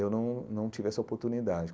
Eu não não tive essa oportunidade.